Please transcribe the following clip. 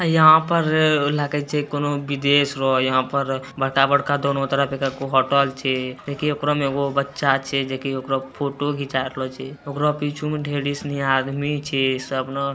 यहाँ पर लागै छे कउनो विदेश हो। यहाँ पर बड़का-बड़का दोनों तरफ एकगो होटल छे। देखीं ओकरो में एगो बच्चा छे जेकी ओकरा फोटो घिंचा रहलो छे। ओकरा पीछो में ढ़ेरी सना आदमी छे सब ना --